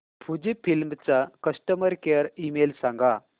Fujifilm चा customer care email सांगा